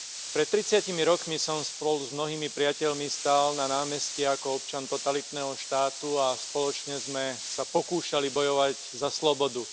Pred tridsiatimi rokmi som spolu s mnohými priateľmi stál na námestí ako občan totalitného štátu a spoločne sme sa pokúšali bojovať za slobodu.